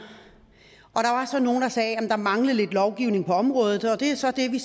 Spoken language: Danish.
og sagde at der manglede lidt lovgivning på området det er så det vi